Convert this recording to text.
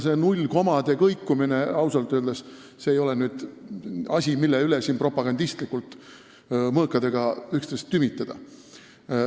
See null-komade kõikumine ei ole ausalt öeldes asi, mille üle siin propagandistlikult mõõkadega üksteist tümitada.